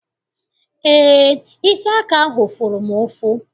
Eé, isi aka ahụ fụrụ m ụfụ.